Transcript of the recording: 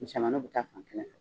Misɛnmaninw bɛ taa fan kelen fɛ